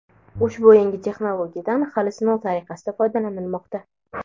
ushbu yangi texnologiyadan hali sinov tariqasida foydalanilmoqda.